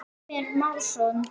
Mímir Másson.